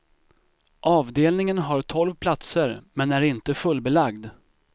Avdelningen har tolv platser, men är inte fullbelagd.